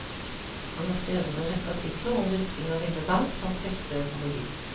Han har skrevet en rekke artikler om dyrking av ville bær, samt hefter i økologi.